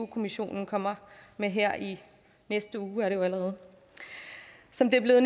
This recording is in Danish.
kommissionen kommer med her i næste uge er det jo allerede som det er blevet